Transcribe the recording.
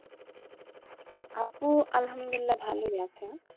আপু আলহামদুলিল্লাহ ভালোই আছে,